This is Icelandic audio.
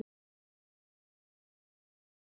Næsta morgun sat Ragnhildur í rútunni.